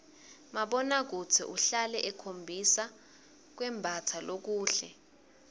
mabonakudze uhlale ukhombisa kwembatsa lokuhle